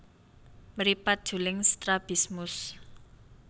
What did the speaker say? Mripat juling strabismus